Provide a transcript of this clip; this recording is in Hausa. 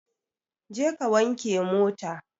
Je ka wanke mota!